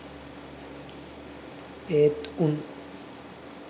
ඒත් උන්.